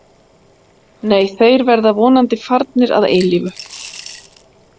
Nei, þeir verða vonandi farnir að eilífu.